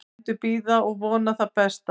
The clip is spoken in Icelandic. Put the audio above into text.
Bændur bíða og vona það besta